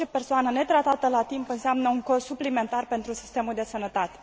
Orice persoană netratată la timp înseamnă un cost suplimentar pentru sistemul de sănătate.